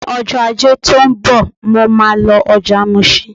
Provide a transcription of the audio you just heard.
Ní ọjọ́ Ajé tó ń bọ̀, mo máa lọ ọjà Mushin.